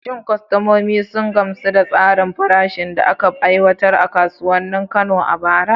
Shin kwastomomin sun gamsu da tsarin farashin da aka aiwatar a kasuwannin Kano a bara?